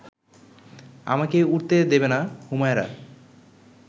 আমাকে উঠতে দেবে না হুমায়রা